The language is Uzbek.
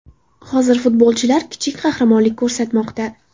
Hozir futbolchilar kichik qahramonlik ko‘rsatmoqda.